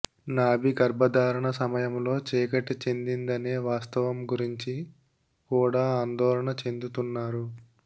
నాభి గర్భధారణ సమయంలో చీకటి చెందిందనే వాస్తవం గురించి కూడా ఆందోళన చెందుతున్నారు